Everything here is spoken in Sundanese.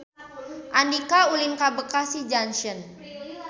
Andika ulin ka Bekasi Junction